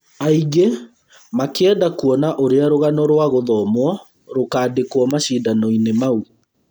Aingĩ makĩenda kuona ũrĩa rũgano rwa gũthomwo rũkandĩkwo macindano inĩ mau